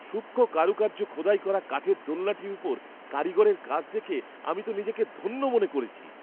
সূক্ষ্ম কারুকার্য খোদাই করা কাঠের দোলনাটির ওপর কারিগরের কাজ দেখে আমি তো নিজেকে ধন্য মনে করেছি।